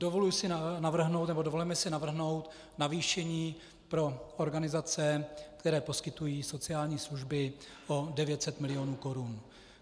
Dovolujeme si navrhnout navýšení pro organizace, které poskytují sociální služby, o 900 mil. korun.